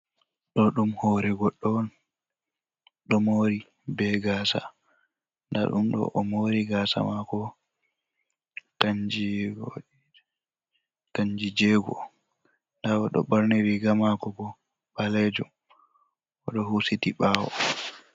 do dum hore goddo on, do mori be gasa dadum o do mori gasa mako kanji jego, da o do burni riga mako bo balejum o do husiti bawo.